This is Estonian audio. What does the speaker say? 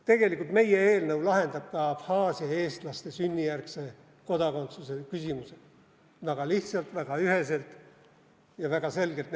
Tegelikult meie eelnõu lahendab ka Abhaasia eestlaste sünnijärgse kodakondsuse küsimused nende jaoks väga lihtsalt, väga üheselt ja väga selgelt.